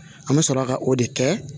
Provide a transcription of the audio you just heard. An bɛ sɔrɔ ka o de kɛ